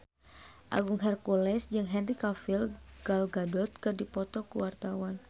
Agung Hercules jeung Henry Cavill Gal Gadot keur dipoto ku wartawan